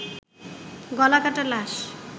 গলাকাটা লাশ